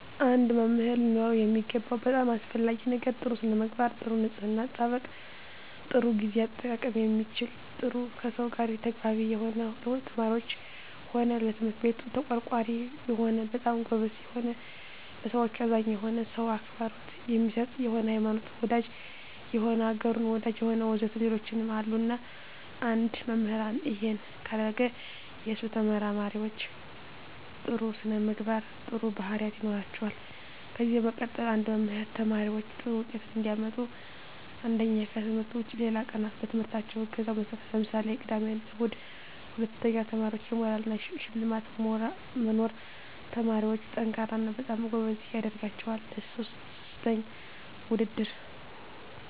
አንድ መምህር ሊኖረው የሚገባው በጣም አሰፈላጊ ነገር ጥሩ ስነምግባር ጥሩ ንጽሕና አጠባበቅ ጥሩ ግዜ አጠቃቀም የሚችል ጥሩ ከሰው ጋር ተግባቢ የሆነ ለተማሪዎች ሆነ ለትምህርት ቤቱ ተቆርቋሪ የሆነ በጣም ጎበዝ የሆነ ለሠዎች አዛኝ የሆነ ሰው አክብሮት የሚሰጥ የሆነ ሀይማኖት ወዳጅ የሆነ አገሩን ወዳጅ የሆነ ወዘተ ሌሎችም አሉ እና አንድ መምህራን እሄን ካረገ የሱ ተመራማሪዎች ጥሩ ስነምግባር ጥሩ ባህሪያት ይኖራቸዋል ከዚ በመቀጠል አንድ መምህር ተማሪዎች ጥሩ ውጤት እንዲያመጡ አንደኛ ከትምህርት ውጭ ሌላ ቀናት በትምህርታቸው እገዛ መስጠት ለምሳሌ ቅዳሜ እሁድ ሁለተኛ ለተማሪዎች የሞራል እና የሽልማት መኖር ተማሪዎች &ጠንካራ እና በጣም ጎበዝ ያደረጋቸዋል ሥስተኛ ውድድር